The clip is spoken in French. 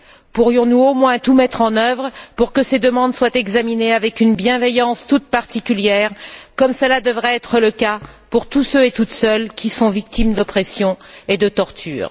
Pourrions nous au moins tout mettre en œuvre pour que ces demandes soient examinées avec une bienveillance toute particulière, comme cela devrait être le cas pour tous ceux et toutes celles qui sont victimes d'oppression et de torture?